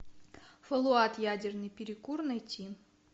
фоллаут ядерный перекур найти